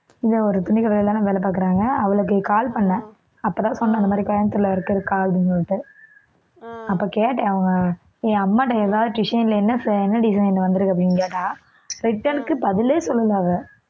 இங்க ஒரு துணிக்கடையிலதான வேலை பாக்கறாங்க அவளுக்கு call பண்ணேன் அப்பதான் சொன்னா இந்த மாதிரி கோயம்புத்தூர்ல இருக்கிறேன் அக்கா அப்படின்னு சொல்லிட்டு அப்ப கேட்டேன் அவங்க அம்மா கிட்ட எதாவது design ல என்ன என்ன design வந்திருக்கு அப்படின்னு கேட்டா return க்கு பதிலே சொல்லல அவ